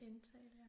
Indtale ja